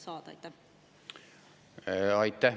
Aitäh!